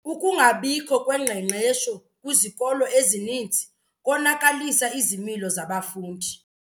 Ukungabikho kwengqeqesho kwizikolo ezininzi konakalise izimilo zabafundi.